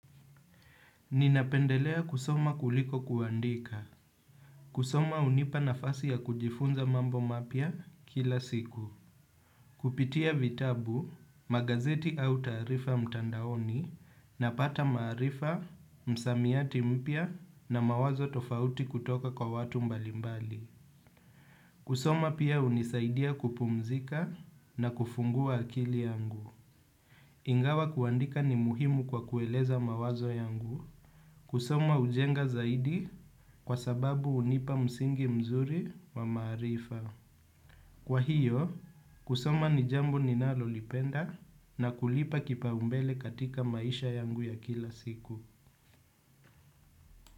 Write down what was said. Ninapendelea kusoma kuliko kuandika. Kusoma hunipa nafasi ya kujifunza mambo mapya kila siku. Kupitia vitabu, magazeti au taarifa mtandaoni napata maarifa, msamiati mpya na mawazo tofauti kutoka kwa watu mbalimbali. Kusoma pia hunisaidia kupumzika na kufungua akili yangu. Ingawa kuandika ni muhimu kwa kueleza mawazo yangu. Kusoma hujenga zaidi kwa sababu hunipa msingi mzuri wa maarifa. Kwa hiyo, kusoma ni jambo ninalolipenda na kulipa kipaumbele katika maisha yangu ya kila siku.